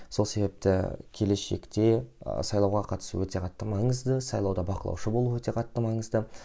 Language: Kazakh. сол себепті келешекте ы сайлауға қатысу өте қатты маңызды сайлауда бақылаушы болу өте қатты маңызды